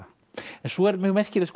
svo er mjög merkilegt